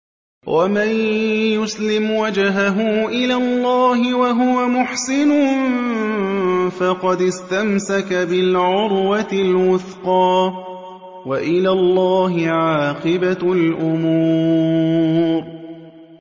۞ وَمَن يُسْلِمْ وَجْهَهُ إِلَى اللَّهِ وَهُوَ مُحْسِنٌ فَقَدِ اسْتَمْسَكَ بِالْعُرْوَةِ الْوُثْقَىٰ ۗ وَإِلَى اللَّهِ عَاقِبَةُ الْأُمُورِ